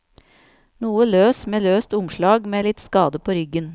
Noe løs med løst omslag med litt skade på ryggen.